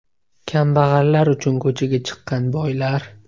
Kambag‘allar uchun ko‘chaga chiqqan boylar.